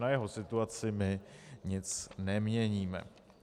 Na jeho situaci my nic neměníme.